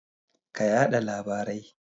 Ka yada labarai.